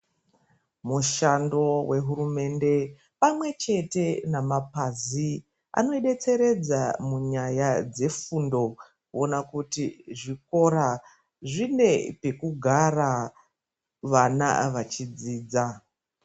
Mushando wehurumende pamwe chete nemapazi anoidetseredza munyaya dzefundo, kuona kuti zvikora zvine pekugara, vana vachidzidza.